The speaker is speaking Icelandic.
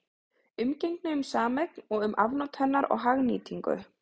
Umgengni um sameign og um afnot hennar og hagnýtingu.